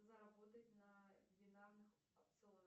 заработать на бинарных опционах